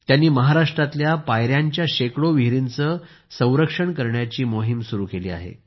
त्यांनी महाराष्ट्रातल्या पाययांच्या शेकडो विहिरींचे संरक्षण करण्याची मोहीम सुरू केली आहे